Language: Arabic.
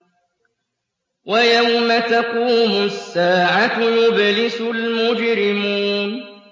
وَيَوْمَ تَقُومُ السَّاعَةُ يُبْلِسُ الْمُجْرِمُونَ